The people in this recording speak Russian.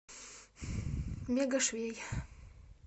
мега швей